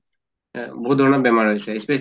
অহ বহুত ধৰণৰ বেমাৰ হৈছে specially